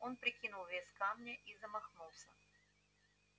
он прикинул вес камня и замахнулся